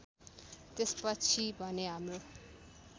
त्यसपछि भने हाम्रो